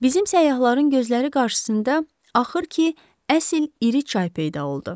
Bizim səyyahların gözləri qarşısında axır ki, əsl iri çay peyda oldu.